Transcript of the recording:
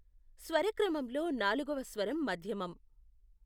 స్వరక్రమంలో నాలుగవ స్వరం మధ్యమం.